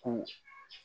Ko